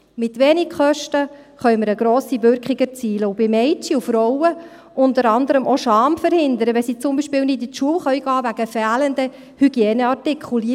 Mit wenig Kosten können wir eine grosse Wirkung erzielen und bei Mädchen und Frauen unter anderem auch Scham verhindern, wenn sie zum Beispiel nicht zur Schule gehen können wegen fehlenden Hygieneartikeln.